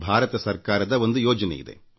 ಭಾರತ ಸರ್ಕಾರದ ಒಂದು ಯೋಜನೆಯಿದೆ